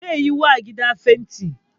Ze yiwa gidan fenti